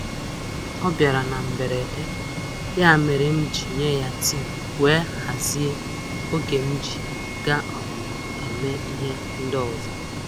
O bịara na mberede, ya mere m ji nye ya tii wee hazie oge m ji ga - um eme ihe ndị ọzọ.